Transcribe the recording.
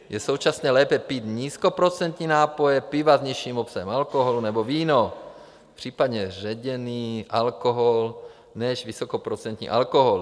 Je současně lépe pít nízkoprocentní nápoje - piva s nižším obsahem alkoholu nebo víno, případně ředěný alkohol než vysokoprocentní alkohol.